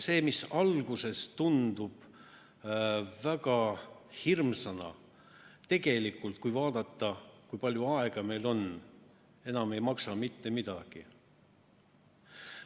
See, mis alguses tundub väga hirmsana, tegelikult, kui vaadata, kui palju aega on, ei maksa enam mitte midagi.